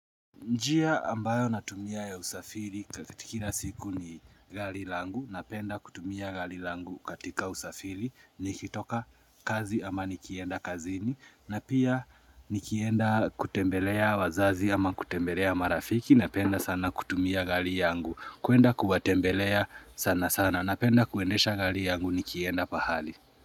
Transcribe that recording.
Njia ambayo natumia ya usafiri kila siku ni gari langu, napenda kutumia gari langu katika usafiri, nikitoka kazi ama nikienda kazini, na pia nikienda kutembelea wazazi ama kutembelea marafiki, napenda sana kutumia gari yangu, kuenda kuwatembelea sana sana, napenda kuendesha gari yangu nikienda pahali.